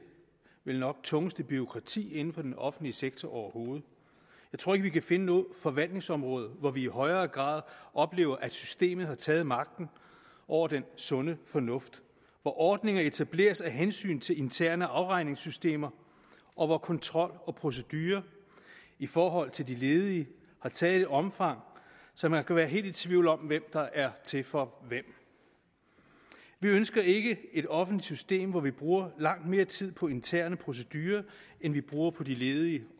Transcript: vel nok tungeste bureaukrati inden for den offentlige sektor overhovedet jeg tror ikke vi kan finde noget forvaltningsområde hvor vi i højere grad oplever at systemet har taget magten over den sunde fornuft hvor ordninger etableres af hensyn til interne afregningssystemer og hvor kontrol og procedurer i forhold til de ledige har taget et omfang så man kan være helt i tvivl om hvem der er til for hvem vi ønsker ikke et offentligt system hvor vi bruger langt mere tid på interne procedurer end vi bruger på de ledige